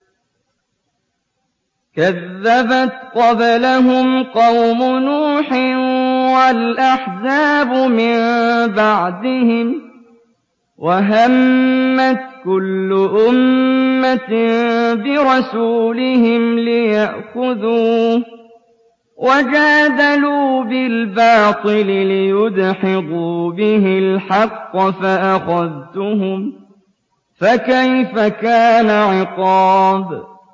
كَذَّبَتْ قَبْلَهُمْ قَوْمُ نُوحٍ وَالْأَحْزَابُ مِن بَعْدِهِمْ ۖ وَهَمَّتْ كُلُّ أُمَّةٍ بِرَسُولِهِمْ لِيَأْخُذُوهُ ۖ وَجَادَلُوا بِالْبَاطِلِ لِيُدْحِضُوا بِهِ الْحَقَّ فَأَخَذْتُهُمْ ۖ فَكَيْفَ كَانَ عِقَابِ